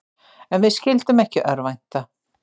En við skyldum ekki örvænta.